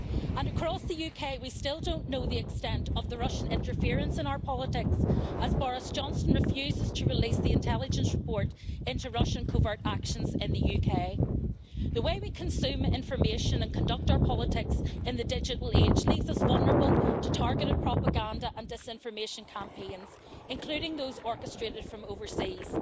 And across the UK, we still don't know the extent of the Russian interference in our politics, as Boris Johnson refuses to release the intelligence report into Russian covert actions in the UK. The way we consume information and conduct our politics in the digital age leaves us vulnerable to targeted propaganda and disinformation campaigns, including those orchestrated from overseas.